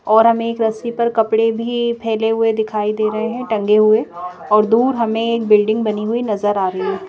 और हमें एक रस्सी पर कपड़े भी फैले हुए दिखाई दे रहे हैं टंगे हुए और दूर हमें एक बिल्डिंग बनी हुई नजर आ रही है।